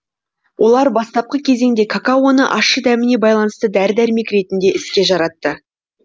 олар бастапқы кезеңде какаоны ащы дәміне байланысты дәрі дәрмек ретінде іске жаратты